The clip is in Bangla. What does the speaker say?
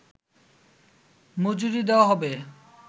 মজুরী দেওয়া হবে